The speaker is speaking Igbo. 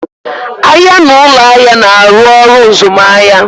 Ahịa na ụlọ ahịa na-arụ ọrụ mzụmahịa.